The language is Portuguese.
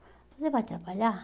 Você vai trabalhar?